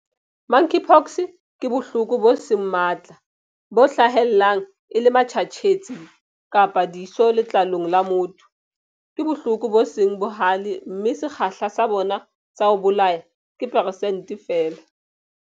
Monkeypox ke bohloko bo seng matla, bo hlahellang e le matjhatjhetsi kapa diso letlalong la motho. Ke bohloko bo seng bohale mme sekgahla sa bona sa ho bolaya ke persente feela.